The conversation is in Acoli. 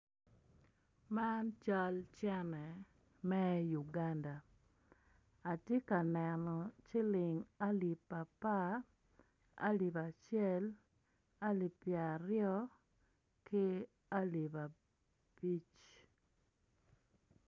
Man cal cene me Uganda atye ka neno ciling alip apar, alip acel, alipi pyer aryo, ki alip abic.